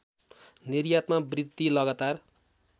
निर्यातमा वृद्धि लगातार